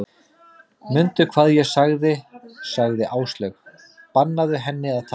Mundu hvað ég sagði sagði Áslaug, bannaðu henni að taka upp